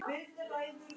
Hvernig hefur það verið?